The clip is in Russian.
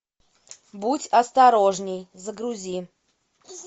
будь осторожнее загрузи